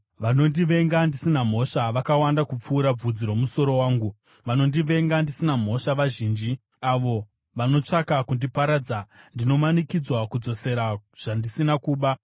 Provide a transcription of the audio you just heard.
Vanondivenga ndisina mhosva vakawanda kupfuura bvudzi romusoro wangu; vanondivenga ndisina mhosva vazhinji, avo vanotsvaka kundiparadza. Ndinomanikidzwa kudzosera zvandisina kuba.